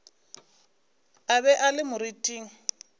a be a le moriting